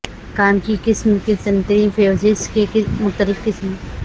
کام کی قسم کی سنٹری فیوجز کے مختلف قسم